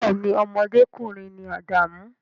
Bee ni, ọmọdékùnrin ni Adamu